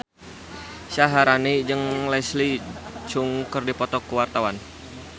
Syaharani jeung Leslie Cheung keur dipoto ku wartawan